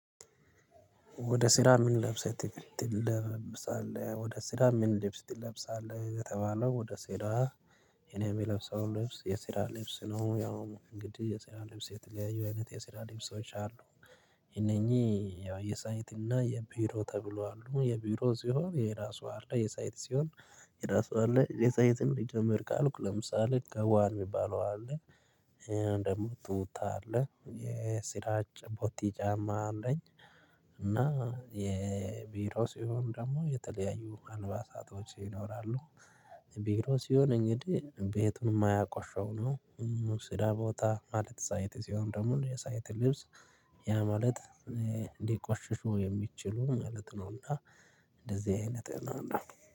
ወደ ስራ ምን ለብሰህ ትለብሳለህ ወደ ስራ ምን ልብስ ትለብሳለህ ለተባለው ወደ ስራ? እኔ የምለብሰው ልብስ የስራ ልብስ ነው። ያው እንግዲህ የስራ ልብስ የተለያዩ አይነት የስራ ልብሶች አሉ። እነኚህ ያው የሳይት እና የቢሮ ተብሎ አሉ የቢሮ ሲሆን የራሱ አለ የሳይት ሲሆን የራሱ አለ። የሳይትን ሊጀመር ካልኩ ለምሳሌ ጋውን የሚባለው አለ። ደግሞ ቱታ አለ የራ ጭ ቦቲ ጫማ አለኝ። እና የቢሮ ሲሆን ደግሞ የተለያዩ አልባሳቶች ይኖራሉ። ቢሮ ሲሆን እንግዲህ ቤቱን የማያቆሸው ነው። ስራ ቦታ ማለት ሳይት ሲሆን ደግሞ የሳይት ልብስ ያ ማለት ሊቆሽሹ የሚችሉ ማለት ነውና። እንደዚህ አይነት ነውና